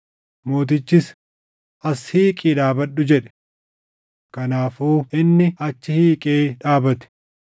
Mootichis, “As hiiqii dhaabadhu” jedhe. Kanaafuu inni achi hiiqee dhaabate.